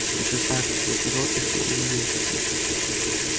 ты же знаешь что за народ эти уилксы